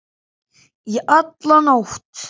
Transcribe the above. Í alla nótt.